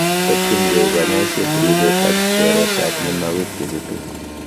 Tokyingei konyoiset ribet ak teretab mionwogik chechutu.